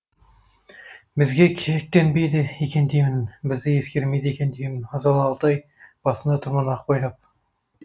бізге кектенбейді екен деймін бізді есіркемейді екен деймін азалы алтай басыңда тұрмын ақ байлап